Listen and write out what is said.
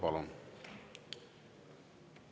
Palun!